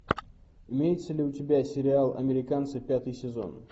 имеется ли у тебя сериал американцы пятый сезон